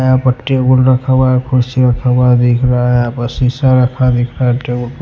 यहां पर टेबल रखा हुआ है कुर्सी रखा हुआ है दिख रहा है यहां पर शीशा रखा दिख रहा है।